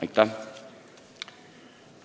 Aitäh!